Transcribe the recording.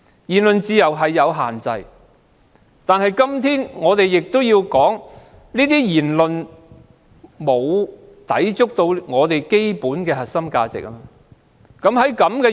言論自由是有限制的，但有關言論沒有抵觸基本的核心價值。